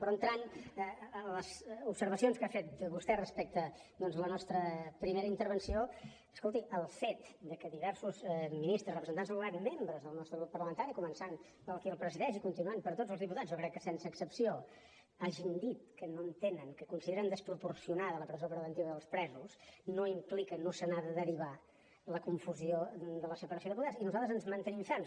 però entrant a les observacions que ha fet vostè respecte doncs la nostra primera intervenció escolti el fet que diversos ministres representants del govern membres del nostre grup parlamentari començant per qui el presideix i continuant per tots els diputats jo crec que sense excepció hagin dit que no entenen que consideren desproporcionada la presó preventiva dels presos no implica no se n’ha de derivar la confusió de la separació de poders i nosaltres ens hi mantenim ferms